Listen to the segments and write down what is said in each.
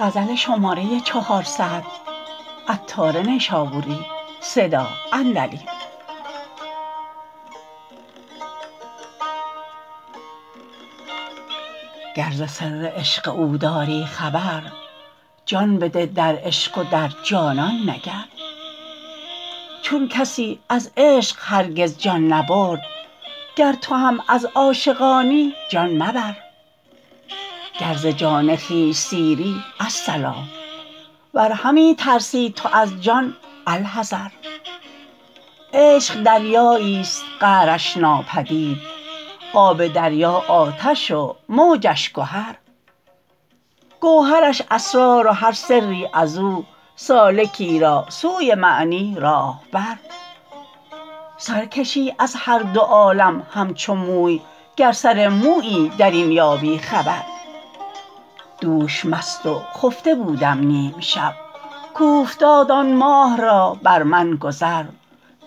گر ز سر عشق او داری خبر جان بده در عشق و در جانان نگر چون کسی از عشق هرگز جان نبرد گر تو هم از عاشقانی جان مبر گر ز جان خویش سیری الصلا ور همی ترسی تو از جان الحذر عشق دریایی است قعرش ناپدید آب دریا آتش و موجش گهر گوهرش اسرار و هر سری ازو سالکی را سوی معنی راهبر سرکشی از هر دو عالم همچو موی گر سر مویی درین یابی خبر دوش مست و خفته بودم نیمشب کوفتاد آن ماه را بر من گذر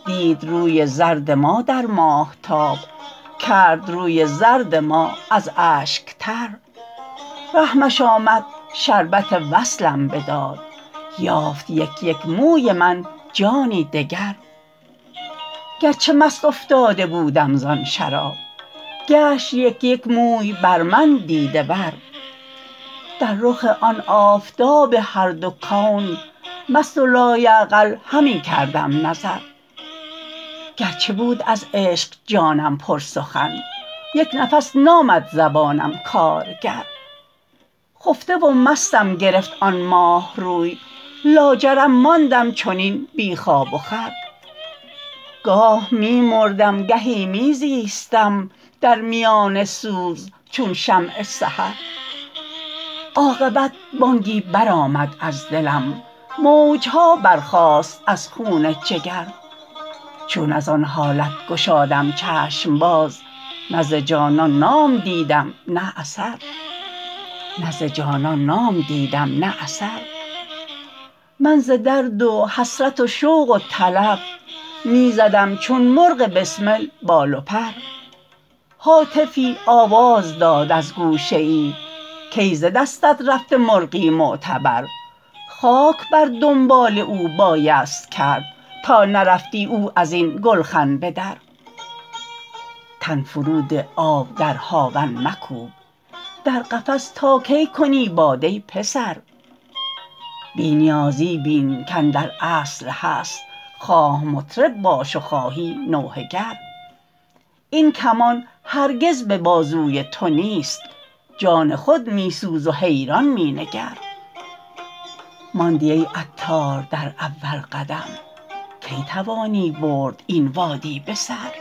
دید روی زرد ما در ماهتاب کرد روی زرد ما از اشک تر رحمش آمد شربت وصلم بداد یافت یک یک موی من جانی دگر گرچه مست افتاده بودم زان شراب گشت یک یک موی بر من دیده ور در رخ آن آفتاب هر دو کون مست و لایعقل همی کردم نظر گرچه بود از عشق جانم پر سخن یک نفس نامد زبانم کارگر خفته و مستم گرفت آن ماه روی لاجرم ماندم چنین بی خواب و خور گاه می مردم گهی می زیستم در میان سوز چون شمع سحر عاقبت بانگی برآمد از دلم موج ها برخاست از خون جگر چون از آن حالت گشادم چشم باز نه ز جانان نام دیدم نه اثر من ز درد و حسرت و شوق و طلب می زدم چون مرغ بسمل بال و پر هاتفی آواز داد از گوشه ای کای ز دستت رفته مرغی معتبر خاک بر دنبال او بایست کرد تا نرفتی او ازین گلخن به در تن فرو ده آب در هاون مکوب در قفس تا کی کنی باد ای پسر بی نیازی بین که اندر اصل هست خواه مطرب باش و خواهی نوحه گر این کمان هرگز به بازوی تو نیست جان خود می سوز و حیران می نگر ماندی ای عطار در اول قدم کی توانی برد این وادی به سر